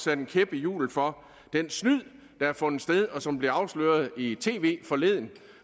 en kæp i hjulet for det snyd der har fundet sted og som blev afsløret i tv forleden